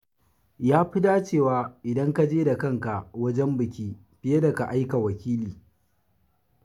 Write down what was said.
Ya fi dacewa idan ka je da kanka wajen bikin fiye da ka aika wakili.